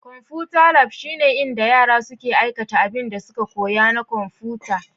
Konfuta lab shine inda yara suke aikata abinda suka koya na konfuta.